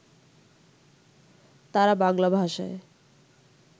তাঁরা বাংলা ভাষায়